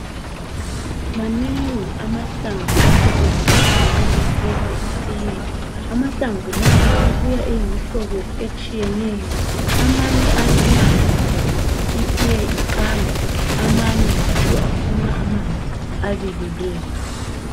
Manengi amahlamvu asetshenziswayo nxa kuphekwa itite amahlamvu lawa abuya eyimihlobo etshiyeneyo amanye ayanathwa itite iqanda amanye njalo afuna amanzi abilileyo.